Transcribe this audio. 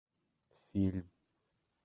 фильм